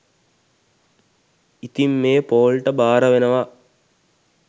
ඉතින් මේ පෝල් ට භාරවෙනවා